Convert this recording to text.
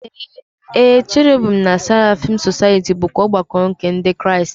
Ee, Cherubim na Seraphim Society bụkwa ọgbakọ nke Ndị Kraịst.